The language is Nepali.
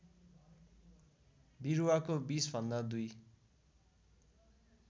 विरूवाका विषभन्दा दुई